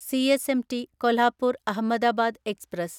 CSMT Kolhapur Ahmedabad express